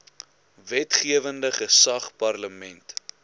wetgewende gesag parlement